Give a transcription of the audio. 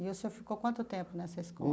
E o senhor ficou quanto tempo nessa escola?